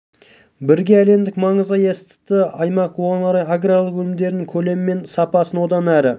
елбасы бурабайдың қайталанбас сұлу табиғатын сақтап келер ұрпаққа қаз-қалпында қалдыру жөніндегі жүктелген тапсырмалардың жүйелі орындалуы